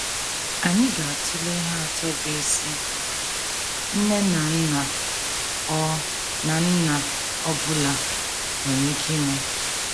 Anyị ga - atụle ihe atọ bụ́ isi nne na nna ọ na nna ọ bụla nwere ike ime.